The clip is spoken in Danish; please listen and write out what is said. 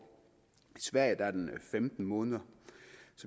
i sverige er den femten måneder